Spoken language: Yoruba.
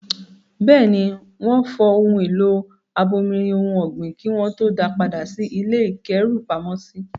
Bẹ́ẹ̀ ni, wọ́n fọ ohun èlò abomirin ohun ọ̀gbìn kí wọ́n tó da padà sí ilé ìkẹ́rùpamọ́sí.